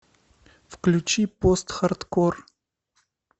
включи постхардкор